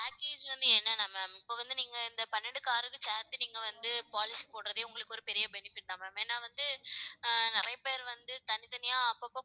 package வந்து என்னன்னா ma'am இப்ப வந்து நீங்க இந்த பன்னெண்டு car க்கு வந்து சேர்த்து நீங்க வந்து policy போடுறதே உங்களுக்கு ஒரு பெரிய benefit தான் ma'am ஏன்னா வந்து ஆஹ் நிறைய பேர் வந்து தனித்தனியா அப்பப்ப